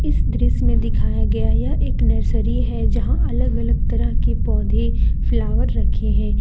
इस दृश्य में दिखाया गया यह एक नर्सरी है यहां अलग अलग तरह के पौधे फ्लावर रखे हैं।